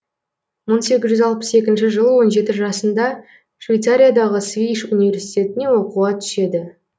мың сегіз жүз алпыс екінші жылы он жеті жасында швецариядағы свейш университетіне оқуға түседі